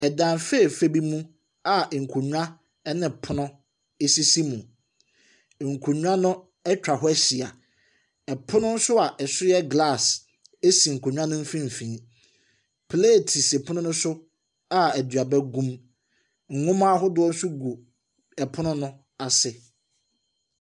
Ɛdan fɛɛfɛ bi mu a nkonnwa ɛna pono sisi mu. Nkonnwa no atwa hɔ ahyia, ɛpono nso a ɛso yɛ glass si nkonnwa no mfimfim. Pleet si pono no so a aduaba ahodoɔ gu mu. Nnwo ma ahodoɔ nso gu pono no ase.